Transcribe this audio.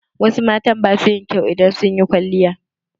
Wasu mata ba su yin kyau idan sun yi kwalliya.